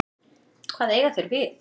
Hvað eiga þeir við?